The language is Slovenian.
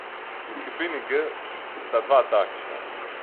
V skupini G sta dva takšna.